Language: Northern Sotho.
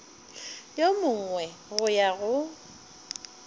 yo mongwe go ya go